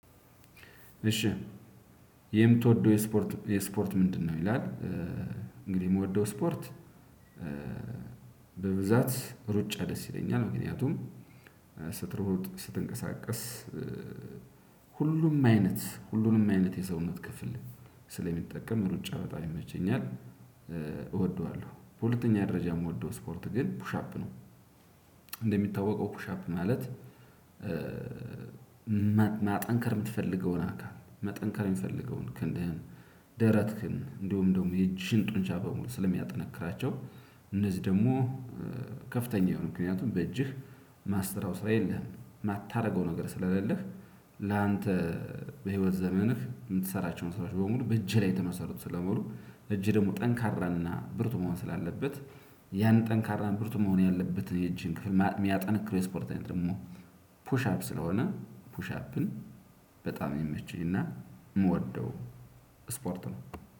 እሺ የምትወደው የስፖርት ምንድነው ይላል? እንግዲህ የምትወደው ስፖርት በብዛት ሩጫ ደስ ይለኛል ምክንያቱም ስትሮጥ ስትንቀሳቀስ ሁሉም አይነት ሁሉንም አይነት የሰውነት ክፍል ስለሚጠቀም ሩጫ በጣም ይመቸኛል እወደዋለሁ። በሁለተኛ ደረጃ የምወደው ስፖርት ግን ፑሻፕ ነው። እንደሚታወቀው ኩሻፕ ማለት ማጠንከር የምትፈልገውን አካል መጠንከር የምትፈልገውን ክንድህን ደረትህን እንዲሁም ደሞ የእጅህን ጡንቻ በሙሉ ስለሚያጠነክራቸው። እነዚህ ደግሞ ከፍተኛ የሆነ ምክንያቱም በእጅህ ማሰራው ስራ የለህም የማታደርገው ነገር ስለሌለህ። ላንተ በህይወት ዘመንህ የምትሰራቸውን ስራዎች በሙሉ በእጄ ላይ የተመሰሩት ስለመሆኑ እጅህ ደግሞ ጠንካራና ብርቱ መሆን ስላለበት። ያን ጠንካራ ብርቱ መሆን ያለበት የእጅህን ክፍል የሚያጠነክረው የስፖርት አይነት ደሞ ፑሽአፕ ስለሆነ ፑሽአፕን በጣም የሚመቸኝ እና የምወደው ስፖርት ነው።